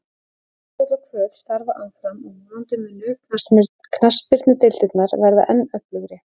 Tindastóll og Hvöt starfa áfram og vonandi munu knattspyrnudeildirnar verða enn öflugri.